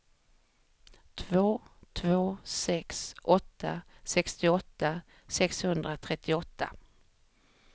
två två sex åtta sextioåtta sexhundratrettioåtta